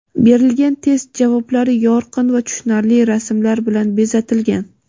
Berilgan test javoblari yorqin va tushunarli rasmlar bilan bezatilgan.